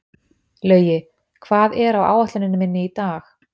Laugi, hvað er á áætluninni minni í dag?